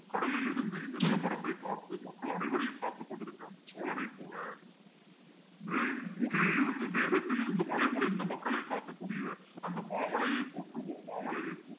கடலில் இருந்து இந்த நிலப்பரப்பை பார்த்து மக்கள் அனைவரையும் பார்த்துக் கொண்டிருக்கிற அந்த சோழனைப் போல மேல் முகிலிலிருந்து மேகத்திலிருந்து மழை பொழிந்து மக்களை தாக்கக்கூடிய அந்த மாமலையை போற்றுவோம் மாமலையை போற்றுவோம்